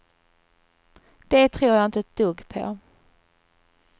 Det tror jag inte ett dugg på.